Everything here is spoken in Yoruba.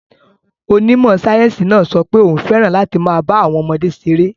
Onímọ̀ sáyẹ́sì náà sọ pé òun fẹ́ràn láti máa bá àwọn ọmọdé ṣeré.